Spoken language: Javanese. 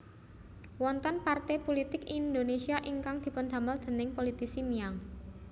Wonten parté pulitik Indonésia ingkang dipundamel déning politisi Miang